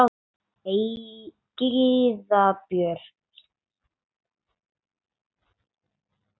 Gyða Björk.